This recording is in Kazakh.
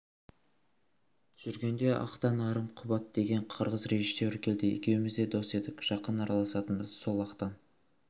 жүргенде ақтан арым құбат деген қырғыз режиссері келді екеуміз дос едік жақын араласатынбыз сол ақтан